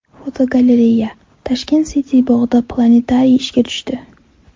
Fotogalereya: Tashkent City bog‘ida planetariy ishga tushdi.